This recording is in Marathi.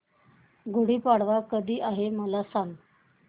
गुढी पाडवा कधी आहे मला सांग